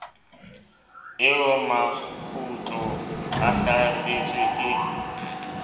eo makgulo a hlasetsweng ke